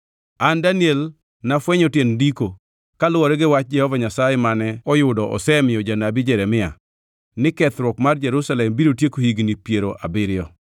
an Daniel nafwenyo tiend Ndiko, kaluwore gi wach Jehova Nyasaye mane oyudo osemiyo Janabi Jeremia, ni kethruok mar Jerusalem biro tieko higni piero abiriyo.